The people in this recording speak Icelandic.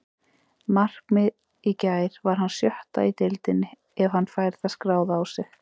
Markið í gær var hans sjötta í deildinni ef hann fær það skráð á sig.